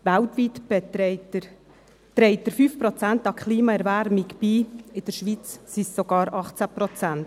Weltweit trägt er 5 Prozent zur Klimaerwärmung bei, in der Schweiz sind es sogar 18 Prozent.